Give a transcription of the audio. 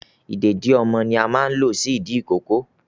Ìdèdí ni ọmọ máa ń lo sí ìdí ìkókó